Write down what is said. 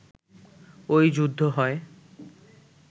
ঐ যুদ্ধ হয়